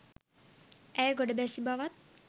ඇය ගොඩ බැසි බවත්